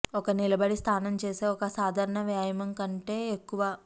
ఒక నిలబడి స్థానం చేసే ఒక సాధారణ వ్యాయామం కంటే ఎక్కువ